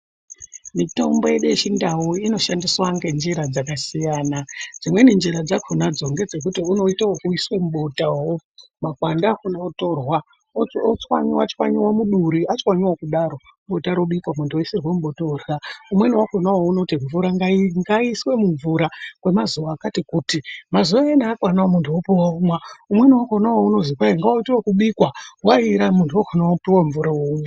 Mitombo yedu yechindau inoshandiswa ngenzira dzakasiyana. Dzimweni nzira dzakhonadzo ngedzekuti unoite wekuiswe mubota makwande akhona otorwa otswanywa tswanywa muduri atswanyiwa kudaro bota robikwa muntu oisirwa mubota orya. Umweni wakhona unoti ngaiiswe mumvura kwemazuva akati kuti, mazuva ayana akwana muntu opiwa omwa. Umweni wakhona unozi ngauite wekubikwa waira muntu wakhona wopuwa mvura womwa.